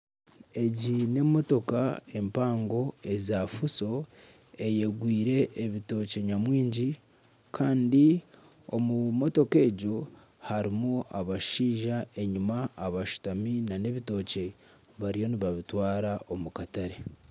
Egi n'emotoka empanga eya fuso eyegwire ebitookye nyamwingi kandi omu motoka egyo harimu abashaija enyima abashutami nana ebitookye bariyo nibabitwara omu katare.